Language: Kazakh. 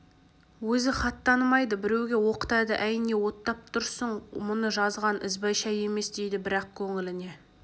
өзі хат танымайды біреуге оқытады әй не оттап тұрсың мұны жазған ізбайша емес дейді бірақ көңіліне